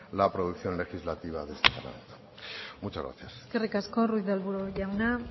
la producción legislativa de este parlamento muchas gracias eskerrik asko ruiz de arbulo jauna